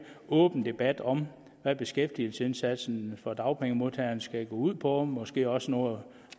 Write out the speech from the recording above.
åben debat om hvad beskæftigelsesindsatsen for dagpengemodtagerne skal gå ud på og måske også noget